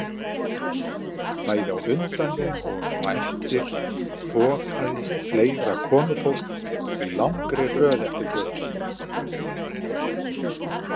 Bæði á undan þeim og eftir þokaðist fleira komufólk í langri röð eftir götunni.